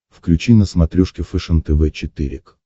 включи на смотрешке фэшен тв четыре к